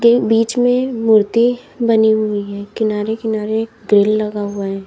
के बीच में मूर्ति बनी हुई है किनारे-किनारे ग्रिल लगा हुआ है।